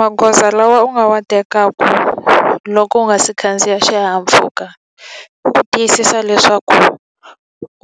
Magoza lawa u nga wa tekaka loko u nga si khandziya xihahampfhuka, i ku tiyisisa leswaku